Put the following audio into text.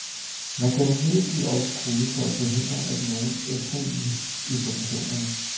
Man kan imidlertid også kode for at forhindre, at nogen ændrer i informationerne.